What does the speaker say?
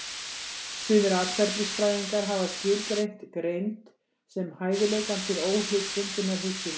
Sumir atferlisfræðingar hafa skilgreint greind sem hæfileikann til óhlutbundinnar hugsunar.